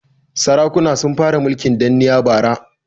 Sarakuna sun fara mulkin danniya bara.